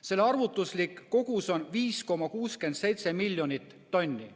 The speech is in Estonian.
Selle arvutuslik kogus on 5,67 miljonit tonni.